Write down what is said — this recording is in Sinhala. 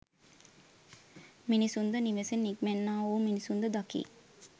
මිනිසුන්ද නිවසෙන් නික්මෙන්නා වූ මිනිසුන්ද දකී.